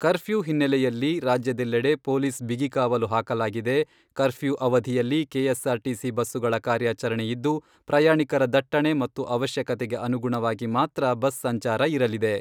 Curfew ಹಿನ್ನೆಲೆಯಲ್ಲಿ ರಾಜ್ಯದೆಲ್ಲೆಡೆ police ಬಿಗಿಕಾವಲು ಹಾಕಲಾಗಿದೆ. ಕರ್ಫ್ಯೂ ಅವಧಿಯಲ್ಲಿ ಕೆಎಸ್ಆರ್ ಟಿಸಿ ಬಸ್ಸುಗಳ ಕಾರ್ಯಾಚರಣೆ ಇದ್ದು, ಪ್ರಯಾಣಿಕರ ದಟ್ಟಣೆ ಮತ್ತು ಅವಶ್ಯಕತೆಗೆ ಅನುಗುಣವಾಗಿ ಮಾತ್ರ ಬಸ್ ಸಂಚಾರ ಇರಲಿದೆ.